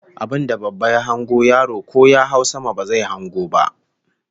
Abinda babba ya hango yaro ko ya hau sama ba zai hango ba